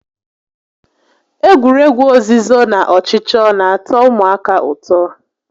Egwuregwu ozizo na ọchịchọ n'atọ ụmụaka ụtọ